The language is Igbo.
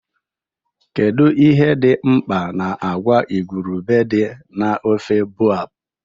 Kedu ihe dị mkpa agwa igurube dị na ofe boab?